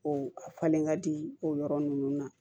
O a falen ka di o yɔrɔ ninnu na